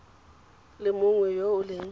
le mongwe yo o leng